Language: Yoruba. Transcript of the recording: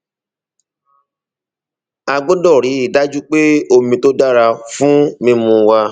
a a gbọdọ rí i dájú pé omi tó dára fún mímu wà